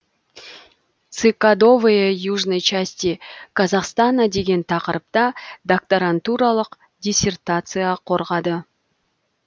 цикадовые южной части казахстана деген тақырыпта докторантуралық диссертация қорғады